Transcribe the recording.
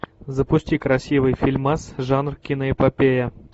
запусти красивый фильмас жанр киноэпопея